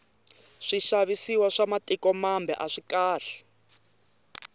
swixavisiwa swa mitiko mambe aswikahle